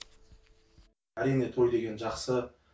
әрине той деген жақсы